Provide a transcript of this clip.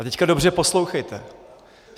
A teď dobře poslouchejte.